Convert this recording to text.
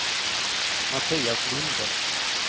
Mattias Linde